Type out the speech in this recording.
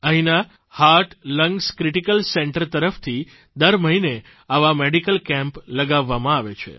અહીંના heart lungs critical Centralની તરફથી દર મહિને આવા મેડિકલ કેમ્પ લગાવવામાં આવે છે